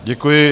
Děkuji.